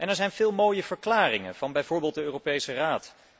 Er zijn veel mooie verklaringen, van bijvoorbeeld de Europese Raad.